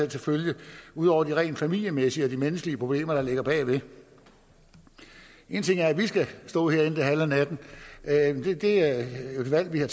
til følge ud over de rent familiemæssige og de menneskelige problemer der ligger bagved en ting er at vi skal stå herinde det halve af natten det er et valg vi har